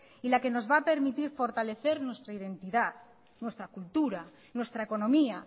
y la que nos va a permitir fortalecer nuestra identidad nuestra cultura nuestra economía